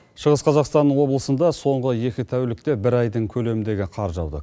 шығыс қазақстан облысында соңғы екі тәулікте бір айдың көлеміндегі қар жауды